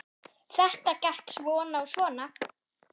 Þetta gekk svona og svona.